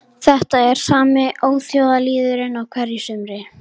Þetta er sami óþjóðalýðurinn á hverju sumri